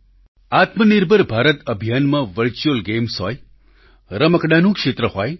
સાથીઓ આત્મનિર્ભર ભારત અભિયાનમાં વર્ચ્યુઅલ ગેમ્સ હોય રમકડાંનું ક્ષેત્ર હોય